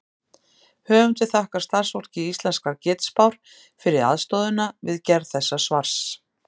Höfundur þakkar starfsfólki Íslenskrar getspár fyrir aðstoðina við gerð þessa svars.